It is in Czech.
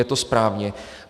Je to správně.